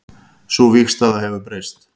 Sú vígstaða hefur breyst